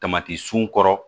Tamati sun kɔrɔ